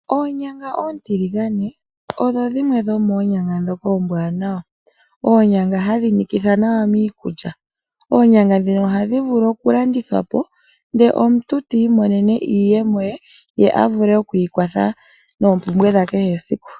Onyanga ontiligane odho dhimwe dhomonyanga dhoka ombwanawa, onyanga hadhi nikitha nawa miikulya, onyanga dhino ohadhi vulu okulandithwa po nde omuntu tiimonene iiyemo ye avule okwiikwatha noompumbwe dha kehe esiku.